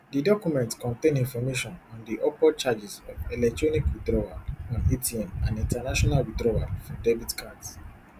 di document contain information on di upward charges of electronic withdrawal on atm and international withdrawal for debit cards